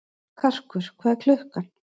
Karkur, hvað er klukkan?